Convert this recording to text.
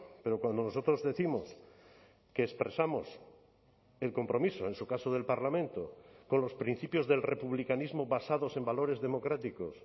pero cuando nosotros décimos que expresamos el compromiso en su caso del parlamento con los principios del republicanismo basados en valores democráticos